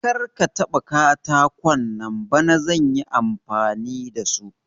Karka taba katakon nan bana zan yi amfani da su.